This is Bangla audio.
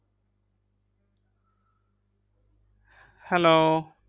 Hello?